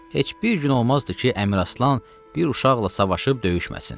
Heç bir gün olmazdı ki, Əmiraslan bir uşaqla savaşıb döyüşməsin.